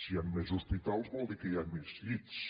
si hi han més hospitals vol dir que hi ha més llits